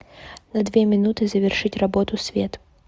на две минуты завершить работу свет